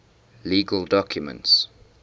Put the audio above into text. legal documents